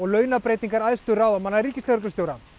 launabreytingar æðstu ráðamanna ríkislögreglustjóra